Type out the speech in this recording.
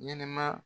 Ɲɛnɛma